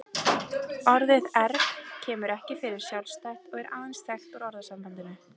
Orðið erg kemur ekki fyrir sjálfstætt og er aðeins þekkt úr orðasambandinu.